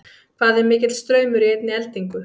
Hvað er mikill straumur í einni eldingu?